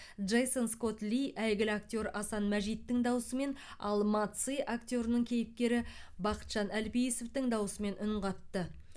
джейсон скотт ли әйгілі актер асан мәжиттің дауысымен ал ма ци актерінің кейіпкері бақытжан әлпейісовтің дауысымен үн қатты